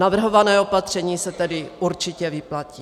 Navrhované opatření se tedy určitě vyplatí.